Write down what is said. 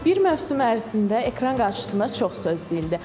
Bir mövsüm ərzində ekran qarşısında çox söz deyildi.